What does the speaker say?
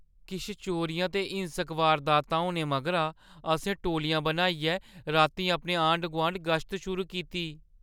किश चोरियां ते हिंसक वारदातां होने मगरा असें टोल्लियां बनाइयै रातीं अपने आंढ-गुआंढ गश्त शुरू कीती।